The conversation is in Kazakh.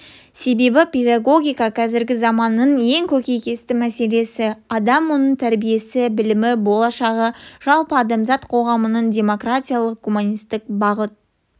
себебі педагогика қазіргі заманның ең көкейкесті мәселесі адам оның тәрбиесі білімі болашағы жалпы адамзат қоғамының демократиялық гуманистік бағыт